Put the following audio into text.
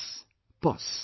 'Pos'